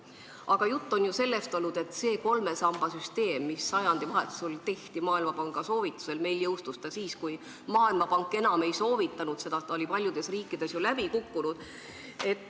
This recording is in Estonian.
Aga juttu on olnud sellest, et see kolme samba süsteem, mis sajandivahetusel tehti Maailmapanga soovitusel, jõustus meil alles siis, kui Maailmapank seda enam ei soovitanud, sest see oli paljudes riikides läbi kukkunud.